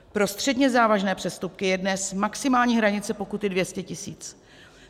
Pro středně závažné přestupky je dnes maximální hranice pokuty 200 tisíc.